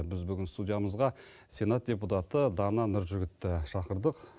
біз бүгін студиямызға сенат депутаты дана нұржігітті шақырдық